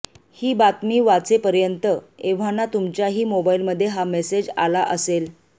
ही बातमी वाचेवपर्यंत एव्हाना तुमच्याही मोबाईलमध्ये हा मेसेज आला असेल